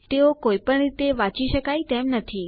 તેઓ કોઈપણ રીતે વાંચી શકાય તેમ નથી